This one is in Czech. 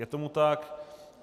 Je tomu tak.